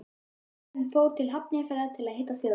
Lögmaðurinn fór til Hafnarfjarðar að hitta Þjóðverja.